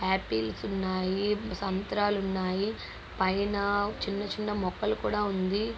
Apples ఉన్నాయి సంత్రాలు ఉన్నాయి పైన చిన్న చిన్నకూడా ఉంది.